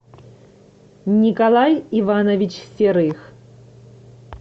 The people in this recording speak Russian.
николай иванович серых